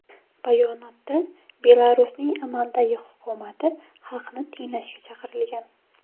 Bayonotda Belarusning amaldagi hukumati xalqni tinglashga chaqirilgan.